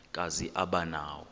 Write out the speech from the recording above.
kazi aba nawo